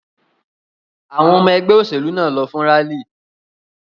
Àwọn ọmọ ẹgbẹ́ òṣèlú náà lọ fún rálì.